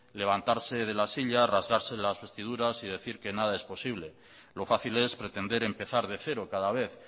levantarse de la silla rasgarse las vestiduras y decir que nada es posible lo fácil es pretender empezar de cero cada vez